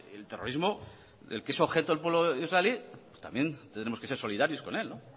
el terrorismo del que es objeto el pueblo israelí pues también tendremos que ser solidarios con él